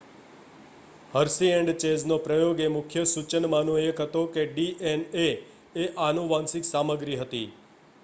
Hershey and ચેઝનો પ્રયોગ એ મુખ્ય સૂચનમાંનો એક હતો કે ડીએનએ એ આનુવંશિક સામગ્રી હતી